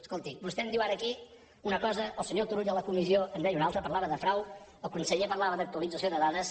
escolti vostè em diu ara aquí una cosa el senyor turull a la comissió en deia una altra parlava de frau el conseller parlava d’actualització de dades